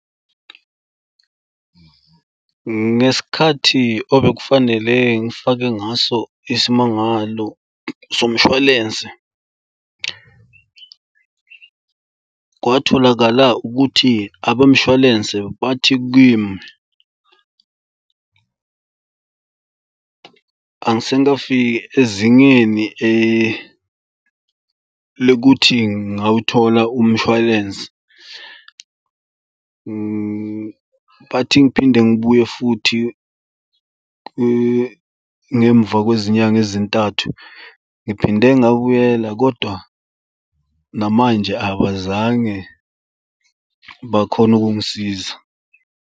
Ngesikhathi obekufanele ngifake ngaso isimangalo somshwalense kwatholakala ukuthi abemshwalense bathi kimi angisengafiki ezingeni lokuthi ngawuthola umshwalense. Bathi ngiphinde ngibuye futhi ngemva kwezinyanga ezintathu. Ngiphinde ngabuyela kodwa namanje abazange bakhone ukungisiza.